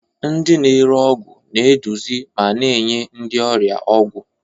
Ndị na-ere ọgwụ na-eduzi ma na-enye ndị ọrịa ọgwụ.